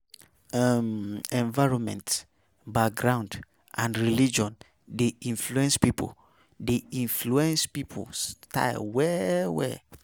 um Environment, background and religion de influence, de influence pipo style well well